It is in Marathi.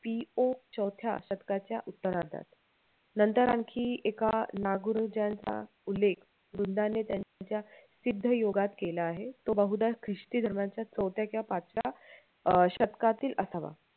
पी ओ चवथ्या शतकाच्या उत्तरार्धात नंतर आणखी एका नागुरुजनांचा उल्लेख वृंदाने त्यांच्या सिद्धयोगात केला आहे तो बहुदा ख्रिस्ती धर्माच्या चवथ्या किंवा पाचव्या अं शतकातील असावा